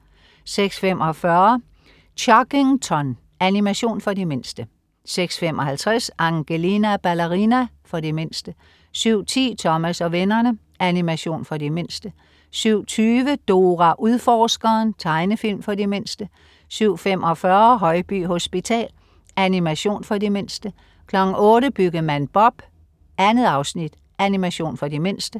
06.45 Chuggington. Animation for de mindste 06.55 Angelina Ballerina. For de mindste 07.10 Thomas og vennerne. Animation for de mindste 07.20 Dora Udforskeren. Tegnefilm for de mindste 07.45 Højby hospital. Animation for de mindste 08.00 Byggemand Bob. 2 afsnit. Animation for de mindste